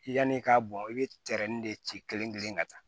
Yanni i k'a bɔn i bɛ tɛrɛnin de ci kelen kelen ka taa